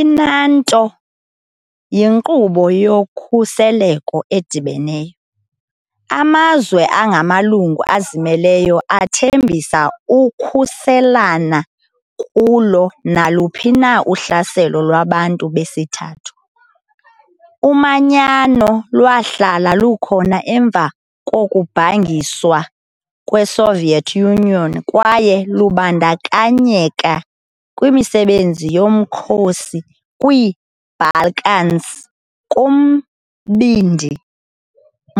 I-NATO yinkqubo yokhuseleko edibeneyo- amazwe angamalungu azimeleyo athembisa ukukhuselana kulo naluphi na uhlaselo lwabantu besithathu. Umanyano lwahlala lukhona emva kokubhangiswa kweSoviet Union kwaye lwabandakanyeka kwimisebenzi yomkhosi kwiiBalkans, kuMbindi